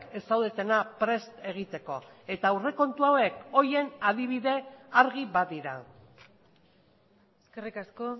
ez zaudetena prest egiteko eta aurrekontu hauek horien adibide argi badira eskerrik asko